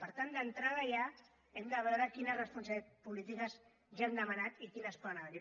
per tant d’entrada ja hem de veure quines responsabilitats polítiques ja hem demanat i quines poden haver hi